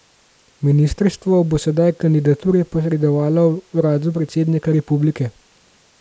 Ministrstvo bo sedaj kandidature posredovalo uradu predsednika republike.